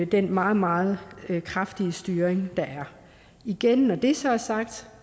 den meget meget kraftige styring der er igen når det så er sagt